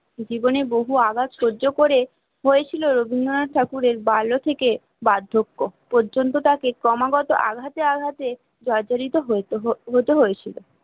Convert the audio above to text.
জীবনে বহু আঘাত সহ্য করে হয়েছিল রবীন্দ্রনাথ ঠাকুরের বাল্য থেকে বার্ধক্য পর্যন্ত তাকে ক্রমাগত আঘাতে আঘাতে জর্জরিত হতে হয়েছিল